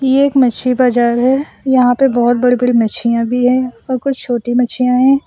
ये एक मछली बाजार है यहां पे बहुत बड़ी बड़ी मछलियां भी हैं और कुछ छोटी मछियां हैं।